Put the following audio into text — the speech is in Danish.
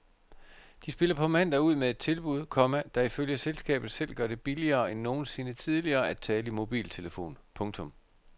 De spiller på mandag ud med et tilbud, komma der ifølge selskabet selv gør det billigere end nogensinde tidligere at tale i mobiltelefon. punktum